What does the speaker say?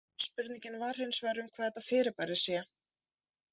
Spurningin var hins vegar um hvað þetta fyrirbæri sé.